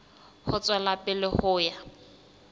ho tswela pele ho ya